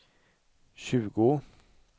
tjugo